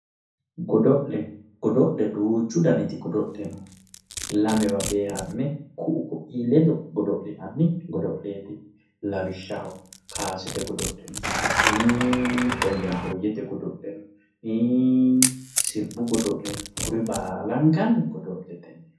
Godo'le godo'le duuchu danniti godo'le no, lamewa beehame ku"u koi ledo godo'linanni godo'leti lawishshaho kowasate godo'le hii'i hoyahoyete godo'le duuchu danniti godo'le no lamewa beehame ku"u koi ledo godo'linanni godo'leti lawishshaho kawase